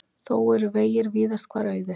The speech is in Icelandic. Þó eru vegir víðast hvar auðir